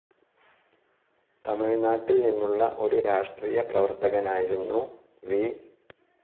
തമിഴ്നാട്ടിൽ നിന്നുള്ള ഒരു രാഷ്ട്രീയ പ്രവർത്തകനായിരുന്നു വി.